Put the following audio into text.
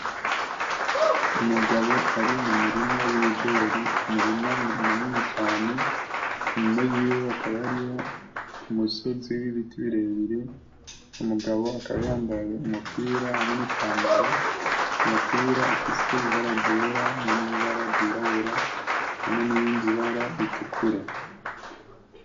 Umugabo ari mu murima w'ibigori umurima munini cane inyuma yiwe hakaba hariho umusozi w'ibiti birebire uwo mugabo akaba yambaye umupira hamwe nipantaro, umupira ufise ibara ryera hamwe nibara ryirabura hamwe nirindi bara ritukura.